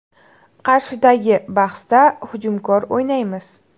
Qarshidagi bahsda hujumkor o‘ynaymiz.